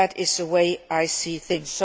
That is the way I see things.